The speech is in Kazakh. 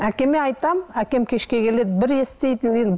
әкеме айтамын әкем кешке келеді бір естиді